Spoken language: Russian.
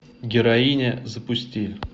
героиня запусти